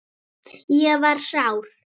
Ég var sár.